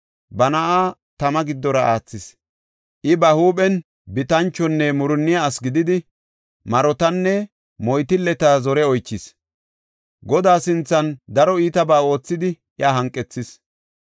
Ba na7aa tama giddora aathis. I ba huuphen bitanchonne murunniya asi gididi, marotanne moytilleta zore oychis. Godaa sinthan daro iitabaa oothidi, iya hanqethis.